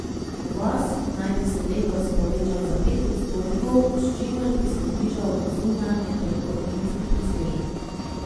Uvoz naj bi se letos povečal za pet odstotkov, s čimer bi se znižal zunanjetrgovinski presežek.